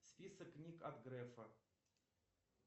список книг от грефа